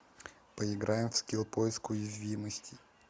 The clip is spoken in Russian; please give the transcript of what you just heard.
поиграем в скилл поиск уязвимостей